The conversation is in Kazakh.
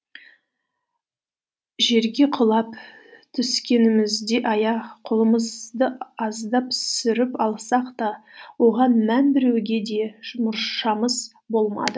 жерге құлап түскенімізде аяқ қолымызды аздап сүріп алсақ та оған мән беруге де мұршамыз болмады